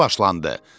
Tamaşa başlandı.